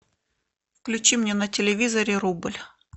включи мне на телевизоре рубль